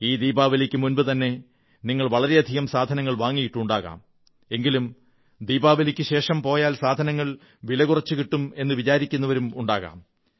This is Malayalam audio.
ഈ ദീപാവലിക്കുമുമ്പുതന്നെ നിങ്ങൾ വളരെയധികം സാധനങ്ങൾ വാങ്ങിയിട്ടുണ്ടാകാം എങ്കിലും ദീപാവലിക്കുശേഷം പോയാൽ സാധനങ്ങൾ വില കുറച്ചു കിട്ടുമെന്നു വിചാരിക്കുന്നവരുെ ഉണ്ടാകും